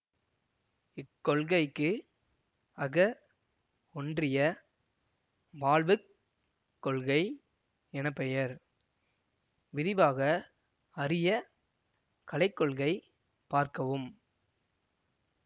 இக்கொள்கைக்கு அக ஒன்றிய வாழ்வுக் கொள்கை என பெயர் விரிவாக அறிய கலைக்கொள்கை பார்க்கவும்